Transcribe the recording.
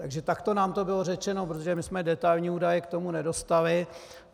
Takže takto nám to bylo řečeno, protože my jsme detailní údaje k tomu nedostali.